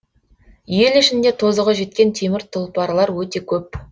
ел ішінде тозығы жеткен темір тұлпарлар өте көп